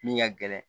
Min ka gɛlɛn